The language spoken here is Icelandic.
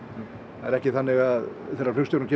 það er ekki þannig að þegar flugstjórinn